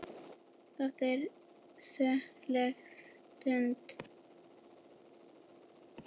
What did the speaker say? Þetta er söguleg stund.